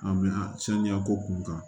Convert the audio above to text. A mɛ saniya ko kun kan